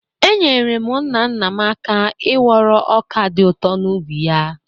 Enyere m nna nna m aka n'ịwọrọ ọka dị ụtọ n’ubi ya.